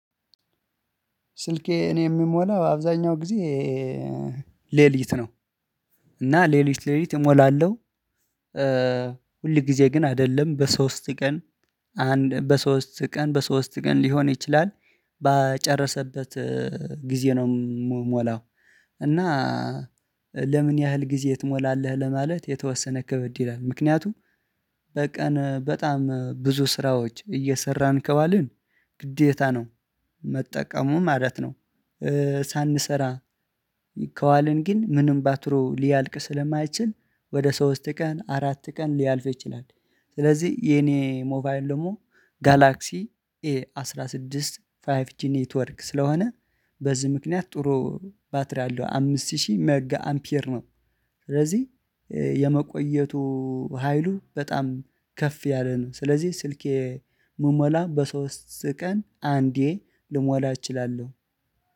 ስልኬ እኔ የምሞላው አብዛኛው ጊዜ ሌሊት ነው። እና ሌሊት ሌሊት እሞላለሁ። ሁል ጊዜ ግን አይደለም በሶስት ቀን አንድ በሶስት ቀን በሶስት ቀን ሊሆን ይችላል ባጨረሰበት ጊዜ ነው የምሞላው። እና ለምን ያህል ጊዜ ትሞላለህ ለማለት የተወሰነ ክበድ ይላል? ምክንያቱም በቀን በጣም ብዙ ስራዎች እየሰራን ከዋልን ግዴታ ነው መጠቀሙ ማለት ነው። ሳንሰራ ከዋልን ግን ምንም ባትሪው ሊያልቅ ስለማይችል ወደ ሶስት ቀን አራት ቀን ሊያልፍ ይችላል። ስለዚህ የኔ ሞባይል ደግሞ ጋላክሲ ኤ አስራ ስድስት ፋይፍ ጂ ኔትወርክ ስለሆነ በዚህ ምክንያት ጥሩ ባትሪ አለው አምስት ሺህ ሜጋ አምፒየር ነው። ስለዚህ የመቆየቱ ሀይሉ በጣም ከፍ ያለ ነው። ስለዚህ ስልኬ መሞላ በሶስት ቀን አንዴ ልሞላ እችላለሁ